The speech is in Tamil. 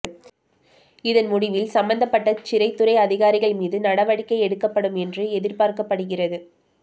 இதன் முடிவில் சம்பந்தப்பட்ட சிறைத்துறை அதிகாரிகள் மீது நடவடிக்கை எடுக்கப்படும் என்று எதிர் பார்க்கப்படுகிறது